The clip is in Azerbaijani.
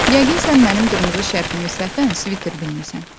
Yəqin sən mənim qırmızı şərfimi səhvən sviter bilmisən.